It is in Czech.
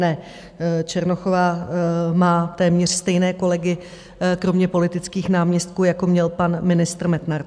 Ne, Černochová má téměř stejné kolegy, kromě politických náměstků, jako měl pan ministr Metnar.